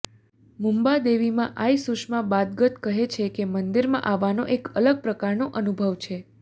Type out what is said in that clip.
મુમ્બા દેવીમાં આઈ સુષમા બાદગત કહે છે કે મંદિરમાં આવવાનો એક અલગ પ્રકારનો અનુભવ છે